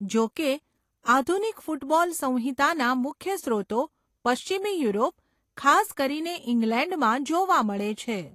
જોકે, આધુનિક ફૂટબોલ સંહિતાના મુખ્ય સ્રોતો પશ્ચિમી યુરોપ, ખાસ કરીને ઇંગ્લેન્ડમાં જોવા મળે છે.